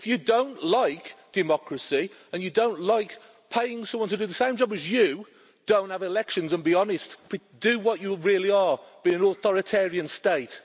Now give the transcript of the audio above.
If you don't like democracy and you don't like paying someone to do the same job as you, don't have elections, and be honest and do what you really are be an authoritarian state.